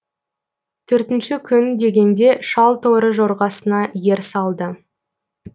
төртінші күн дегенде шал торы жорғасына ер салды